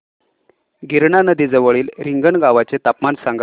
गिरणा नदी जवळील रिंगणगावाचे तापमान सांगा